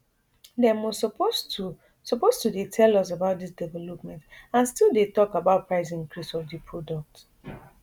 dem o suppose to suppose to dey tell us about dis developments and still dey tok about price increase of di product